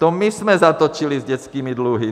To my jsme zatočili s dětskými dluhy!